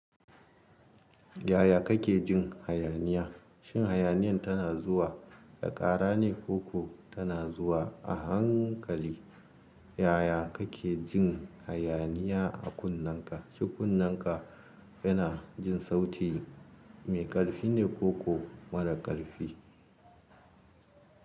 Yaya kake jin hayaniya? Shin hayaniyan tana zuwa da ƙara ne koko tana zuwa a hankali? Yaya kake jin hayaniya a kunneka? Shin kunneka yana jin sauti mai ƙarfi ne ko ko mara ƙarfi?